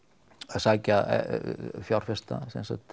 að sækja fjárfesta